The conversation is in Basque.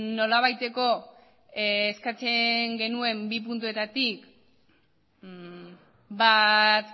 nolabaiteko eskatzen genuen bi puntuetatik bat